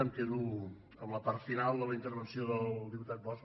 em quedo amb la part final de la intervenció del diputat bosch